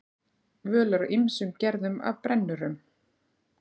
Völ er á ýmsum gerðum af brennurum.